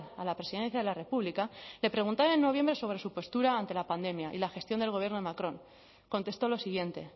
a la presidencia de la república le preguntaron en noviembre sobre su postura ante la pandemia y la gestión del gobierno de macron contestó lo siguiente